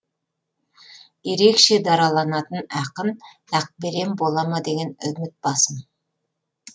ерекше дараланатын ақын ақберен бола ма деген үміт басым